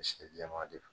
jɛman de don